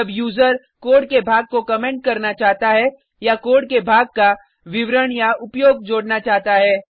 जब user code के भाग को कमेंट करना चाहता है या कोड के भाग का विवरणउपयोग जोडना चाहता है